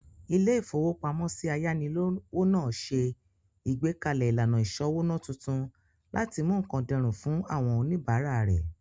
Ilé-ìfowópamọ́sí ayánilówó náà ṣe ìgbékalẹ̀ ìlànà ìsọ́wóná tuntun láti mú nkán dẹrùn fún àwọn oníbàárà rẹ̀